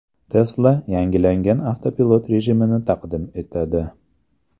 Tesla yangilangan avtopilot rejimini taqdim etadi.